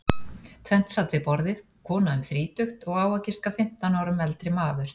Tvennt sat við borðið, kona um þrítugt og á að giska fimmtán árum eldri maður.